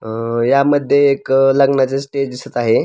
अ यामध्ये एक लग्नाचे स्टेज दिसत आहे.